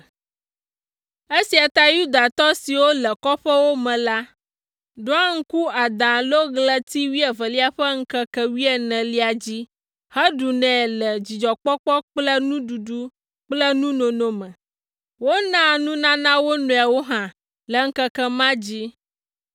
Esia tae Yudatɔ siwo le kɔƒewo me la, ɖoa ŋku Ada alo ɣleti wuievelia ƒe ŋkeke wuienelia dzi heɖunɛ le dzidzɔkpɔkpɔ kple nuɖuɖu kple nunono me. Wonaa nunana wo nɔewo hã le ŋkeke ma dzi.